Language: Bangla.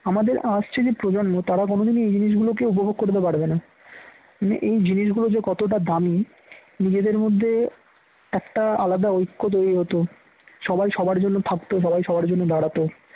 আমাদের আসছে যে প্রজন্ম তারা কোনদিনই এই জিনিসগুলোকে উপভোগ করতে পারবে না মানে এই জিনিসগুলো যে কতটা দামি নিজেদের মধ্যে একটা আলাদা ঐক্য তৈরি হতো সবাই সবার জন্য থাকতো সবাই সবার জন্য দাঁড়াতো